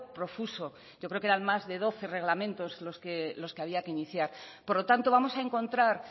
profuso yo creo que eran más de doce reglamentos los que había que iniciar por lo tanto vamos a encontrar